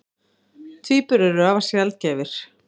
Tvíburar eru afar sjaldgæfir.